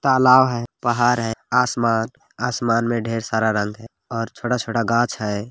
तालाब है पहाड़ है आसमान-आसमान मे ढेर सारा रंग है और छोटा -छोटा घाछ है।